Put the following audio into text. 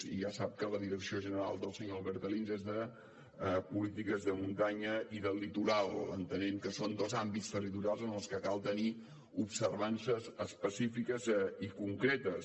ja sap que la direcció general del senyor albert alins és de polítiques de muntanya i del litoral entenent que són dos àmbits territorials en els que cal tenir observances específiques i concretes